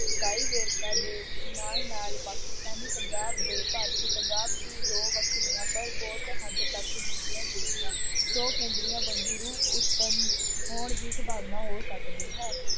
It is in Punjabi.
ਇਕਾਈ ਵੇਰਕਾ ਦੇ ਨਾਲ ਨਾਲ ਪਾਕਿਸਤਾਨੀ ਪੰਜਾਬ ਦੇ ਭਾਰਤੀ ਪੰਜਾਬ ਦੀ ਦੋ ਵੱਖਰੀਆਂ ਪਰ ਬਹੁਤ ਹੱਦ ਤੱਕ ਮਿਲਦੀਆਂ ਜੁਲਦੀਆਂ, ਦੋ ਕੇਂਦਰੀਆਂ ਵੰਨਗੀ ਰੂਪ ਉਤਪੰਨ ਹੋਣ ਦੀ ਸੰਭਾਵਨਾ ਹੋ ਸਕਦੀ ਹੈ।